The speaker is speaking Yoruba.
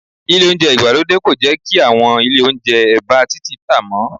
Ile Ohunjẹ́ ìgbàlódé kò jẹ́ kí àwọn ilé Ohunjẹ́ ẹ̀bá títì tá mọ́